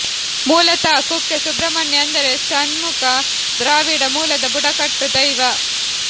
ಮೂಲತಃ ಕುಕ್ಕೆ ಸುಬ್ರಮಣ್ಯ ಅಂದರೆ ಷಣ್ಮುಖ ದ್ರಾವಿಡ ಮೂಲದ ಬುಡಕಟ್ಟು ದೈವ